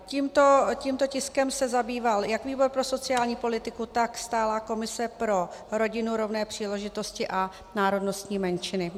Tímto tiskem se zabýval jak výbor pro sociální politiku, tak stálá komise pro rodinu, rovné příležitosti a národnostní menšiny.